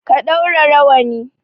Ka ɗaura rawani!